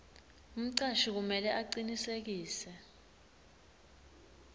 umcashi kumele acinisekise